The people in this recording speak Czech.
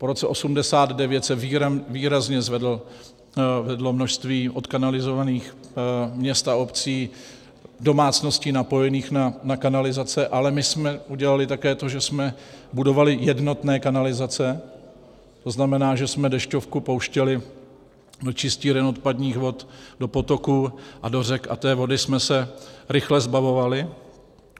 Po roce 1989 se výrazně zvedlo množství odkanalizovaných měst a obcí, domácností napojených na kanalizace, ale my jsme udělali také to, že jsme budovali jednotné kanalizace, to znamená, že jsme dešťovku pouštěli do čistíren odpadních vod, do potoků a do řek a té vody jsme se rychle zbavovali.